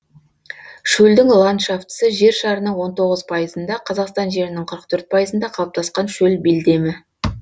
шөлдің ландшафтысы жер шарының он тоғыз пайызында қазақстан жерінің қырық төрт пайызында қалыптасқан шөл белдемі